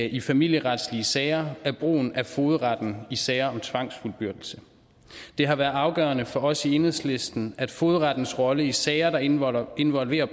i familieretslige sager er brugen af fogedretten i sager om tvangsfuldbyrdelse det har været afgørende for os i enhedslisten at fogedrettens rolle i sager der involverer involverer